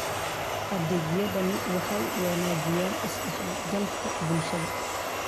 Adeegyadani waxay wanaajiyaan isdhexgalka bulshada.